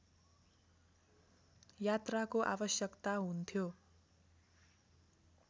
यात्राको आवश्यकता हुन्थ्यो